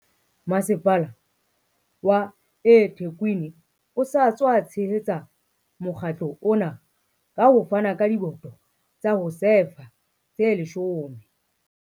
Masepala wa eThekwini o sa tswa tshehetsa mokga tlo ona ka ho fana ka diboto tsa ho sefa tse 10.